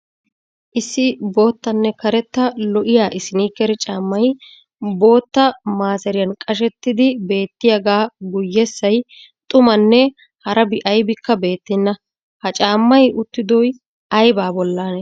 Issi boottanne karetta lo"iyaa isiniikere caammay, bootta maaseriyaan qashshetidi beettiyaga guyessay xummanne harabi aybikka beettenna. ha caammay uttidoy aybaa bollaanee?